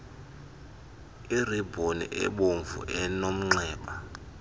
iribhoni ebomvu enomnxeba